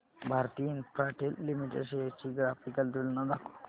Bharti Infratel limited shares ची graphical तुलना दाखव